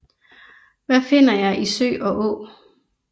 Hvad finder jeg i sø og å